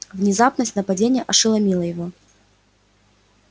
внезапность нападения ошеломила его